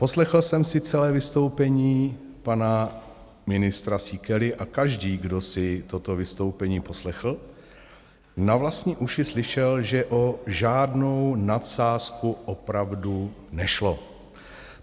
Poslechl jsem si celé vystoupení pana ministra Síkely a každý, kdo si toto vystoupení poslechl, na vlastní uši slyšel, že o žádnou nadsázku opravdu nešlo.